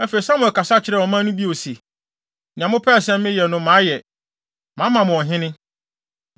Afei, Samuel kasa kyerɛɛ ɔman no bio se, “Nea mopɛɛ sɛ meyɛ no mayɛ, mama mo ɔhene.